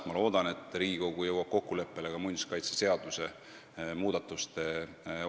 Ma loodan, et Riigikogu jõuab kokkuleppele ka muinsuskaitseseaduse muudatuste suhtes.